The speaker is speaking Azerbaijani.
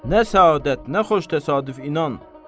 Nə səadət, nə xoş təsadüf inan.